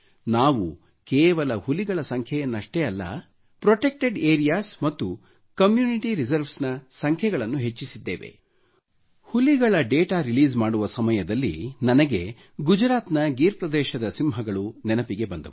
ನಾವು ಕೇವಲ ಹುಲಿಗಳ ಸಂಖ್ಯೆಯನ್ನಷ್ಟೆ ಅಲ್ಲ ಪ್ರೊಟೆಕ್ಟೆಡ್ ಏರಿಯಾಸ್ ಮತ್ತು ಕಮ್ಯೂನಿಟಿ ರಿಸರ್ವ್ಸ್ ನ ಸಂಖ್ಯೆಗಳನ್ನು ಹೆಚ್ಚಿಸಿದ್ದೇವೆ ಹುಲಿಗಳ ಡಾಟಾ ರಿಲೀಸ್ ಮಾಡುವ ಸಮಯದಲ್ಲಿ ನನಗೆ ಗುಜರಾತ್ನ ಗೀರ್ ಪ್ರದೇಶದ ಸಿಂಹಗಳು ನೆನಪಿಗೆ ಬಂದವು